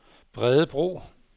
Bredebro